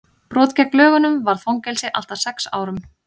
brot gegn lögunum varða fangelsi allt að sex árum